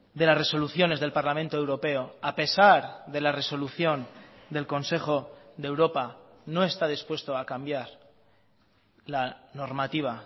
de las resoluciones del parlamento europeo a pesar de la resolución del consejo de europa no está dispuesto a cambiar la normativa